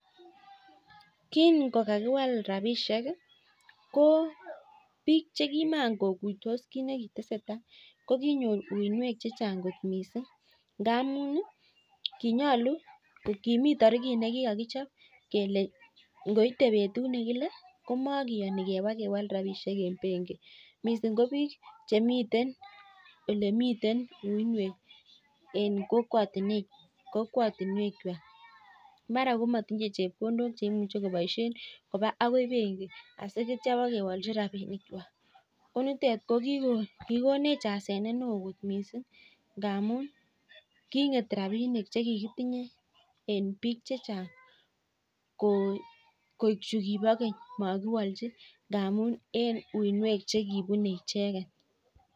Kin kokakiwal rapisiek ko biik che kin makokuitos tuguk chekitese tai, kokinyor uinwek chechang kot missing, ngamun kinyolu, kimii tarikit nekikokichop kele ngoite betut nekile komokiyoni kebaa kewal rapisiek en benki, missing ko biik chemiten olemiten uinwek en kokwotinwekchwak mara komotinye chepkondok cheimuch koboisien kobaa akoi benki akityan ibokewolchi rapinikwak ,konitet kikonech asenet ne oo kot missing, ngamun king'et rapinik chekikitinye en biik chechang koik juu kibo keny ngamun en uinwek chekibunee icheket.